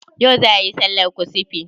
Yau za ayi sallar kusufi?